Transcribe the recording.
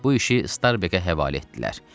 Bu işi Starbeqə həvalə etdilər.